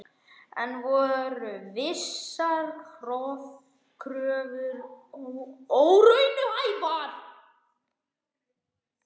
En voru þessar kröfur óraunhæfar?